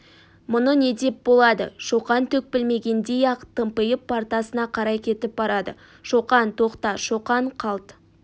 мұны не деп болады шоқан түк білмегендей-ақ тымпиып партасына қарай кетіп барады шоқан тоқта шоқан қалт